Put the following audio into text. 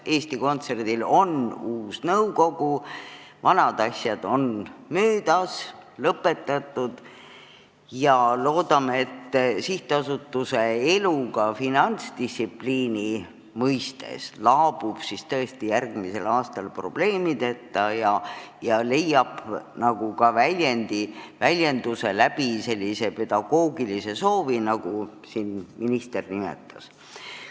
Eesti Kontserdil on uus nõukogu, vanad asjad on lõpetatud ja loodame, et sihtasutuse elu ka finantsdistsipliini mõttes laabub järgmisel aastal tõesti probleemideta ja leiab ka väljenduse sellises pedagoogilises soovis, nagu siin minister nimetas.